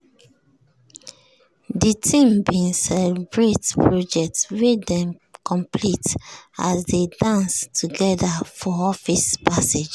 de team bin celebrate project wey dem complete as dey dance together for office passage